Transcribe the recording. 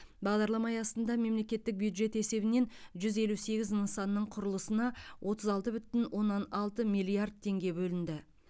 бағдарлама аясында мемлекеттік бюджет есебінен жүз елу сегіз нысанның құрылысына отыз алты бүтін оннан алты миллиард теңге бөлінді